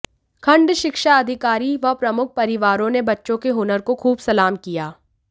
खंड शिक्षा अधिकारी व प्रमुख परिवारों ने बच्चों के हुनर को खूब सलाम किया